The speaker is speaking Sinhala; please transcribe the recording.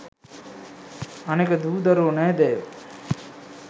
අනෙක දූ දරුවො නෑදෑයෝ